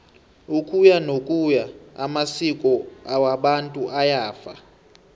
ukuyanokuya amasko wabantu ayafa